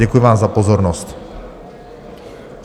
Děkuji vám za pozornost.